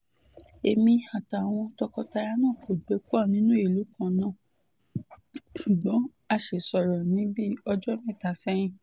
èmi àtàwọn tọkọtaya náà kò gbé pọ̀ nínú ìlú kan náà ṣùgbọ́n a sì sọ̀rọ̀ ní bíi ọjọ́ mẹ́ta sẹ́yìn